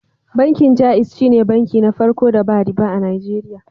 Bankin Jaiz shine banki na farko da ba riba a Najeriya.